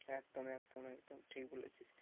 একদম একদম একদম ঠিক বলেছিস।